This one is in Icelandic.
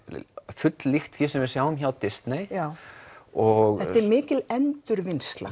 full líkt því sem við sjáum hjá Disney og þetta er mikil endurvinnsla